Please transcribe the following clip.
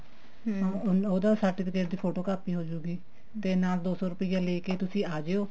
ਉਹਦੇ certificate ਦੀ photocopy ਹੋਜੇਗੀ ਤੇ ਨਾਲ ਦੋ ਸੋ ਰੁਪਿਆ ਨਾਲ ਲੇਕੇ ਆਜੋ